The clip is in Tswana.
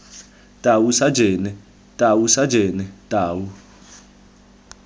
tau sajene tau sajene tau